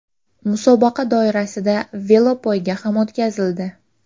Musobaqa doirasida velopoyga ham o‘tkazildi.